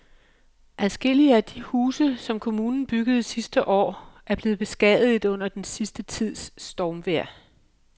Adskillige af de huse, som kommunen byggede sidste år, er blevet beskadiget under den sidste tids stormvejr.